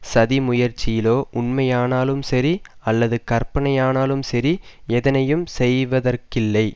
சதி முயற்சியிலோ உண்மையானாலும் சரி அல்லது கற்பனையானாலும் சரி எதனையும் செய்யவதற்கில்லை